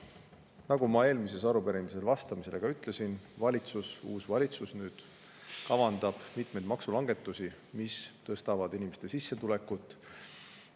Nagu ma eelmisele arupärimisele vastates ütlesin, valitsus, nüüd siis uus valitsus, kavandab mitmeid maksulangetusi, mis inimeste sissetulekut.